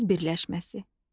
Söz birləşməsi.